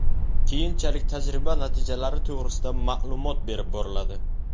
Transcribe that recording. Keyinchalik tajriba natijalari to‘g‘risida ma’lumot berib boriladi.